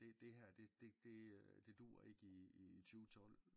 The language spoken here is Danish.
Det det her det det det det dur ikke i i 2012